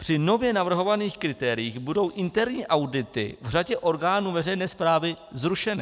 Při nově navrhovaných kritériích budou interní audity v řadě orgánů veřejné správy zrušeny.